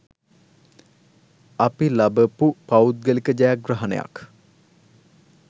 අපි ලබපු පෞද්ගලික ජයග්‍රහණයක්.